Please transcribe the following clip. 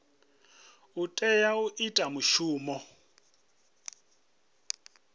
o tea u ita mushumo